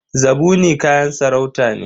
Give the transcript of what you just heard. Zabuni kayan sarauta ne.